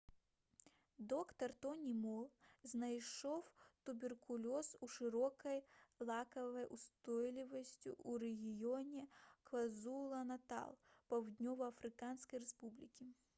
доктар тоні мол знайшоў туберкулёз з шырокай лекавай устойлівасцю ў рэгіёне квазулу-натал паўднёва-афрыканскай рэспублікі